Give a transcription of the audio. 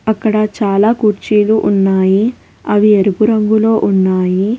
అక్కడ చాలా కుర్చీలు ఉన్నాయి అవి ఎరువు రంగులో ఉన్నాయి.